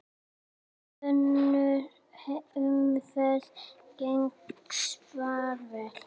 Önnur umferð gengur svipað vel.